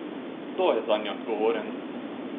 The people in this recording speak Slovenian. Kdo je zanje odgovoren?